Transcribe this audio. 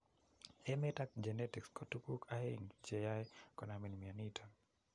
emet ak genetics ko tuguk aeng cheyoe konamin mioniton.